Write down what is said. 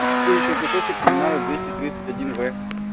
ещё кусочек коммунаров в